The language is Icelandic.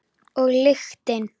Og lyktin.